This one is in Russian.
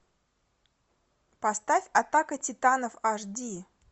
поставь атака титанов аш ди